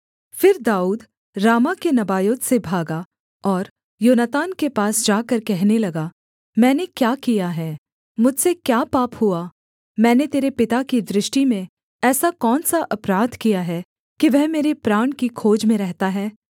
फिर दाऊद रामाह के नबायोत से भागा और योनातान के पास जाकर कहने लगा मैंने क्या किया है मुझसे क्या पाप हुआ मैंने तेरे पिता की दृष्टि में ऐसा कौन सा अपराध किया है कि वह मेरे प्राण की खोज में रहता है